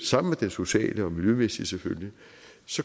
sammen med den sociale og miljømæssige selvfølgelig